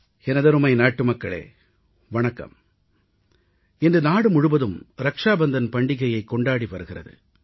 எனதருமை நாட்டுமக்களே வணக்கம் இன்று நாடு முழுவதும் ரக்ஷாபந்தன் பண்டிகையைக் கொண்டாடி வருகிறது